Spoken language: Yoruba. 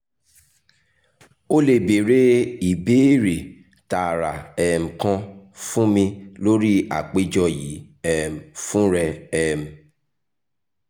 o le beere beere ibeere taara um kan fun mi lori apejọ yii um fun rẹ um